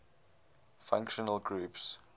functional groups